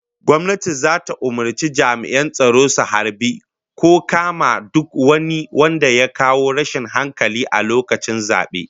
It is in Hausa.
Gwamnati zata umurci jami'an tsaro su harbi ko kama duk wani wanda ya kawo rashin hankali a lokacin zabe